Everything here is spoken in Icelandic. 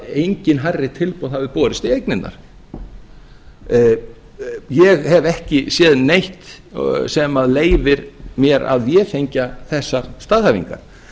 engin hærri tilboð hafi borist í eignirnar ég hef ekki séð neitt sem leyfir mér að vefengja þessar staðhæfingar